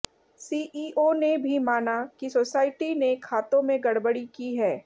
CEO ने भी माना कि सोसायटी ने खातों में गड़बड़ी की है